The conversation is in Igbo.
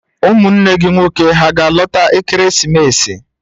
Ụmụnne gị nwoke hà ga-alọta ekeresimesi?